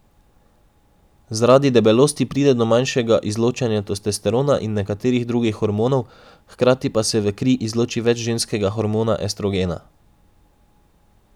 Zaradi debelosti pride do manjšega izločanja testosterona in nekaterih drugih hormonov, hkrati pa se v kri izloči več ženskega hormona estrogena.